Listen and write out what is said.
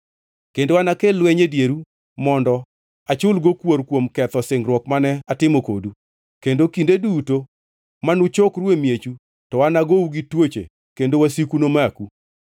Kendo anakel lweny e dieru mondo achulgo kuor kuom ketho singruok mane atimo kodu, kendo kinde duto manuchokru e miechu to nagou gi tuoche kendo wasiku nomaku.